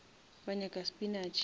wa nyaka spinash